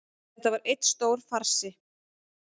Þetta var einn stór farsi